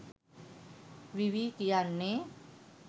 විවි කියන්නෙ